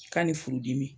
Ka ni furudimi